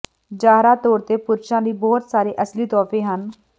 ਜ਼ਾਹਰਾ ਤੌਰ ਤੇ ਪੁਰਸ਼ਾਂ ਲਈ ਬਹੁਤ ਸਾਰੇ ਅਸਲੀ ਤੋਹਫ਼ੇ ਹਨ